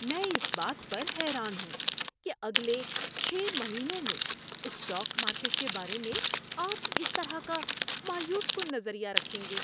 میں اس بات پر حیران ہوں کہ اگلے چھ مہینوں میں اسٹاک مارکیٹ کے بارے میں آپ اس طرح کا مایوس کن نظریہ رکھیں گے۔